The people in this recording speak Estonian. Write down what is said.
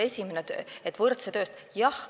Esimene oli, et võrdse töö eest võrdne palk.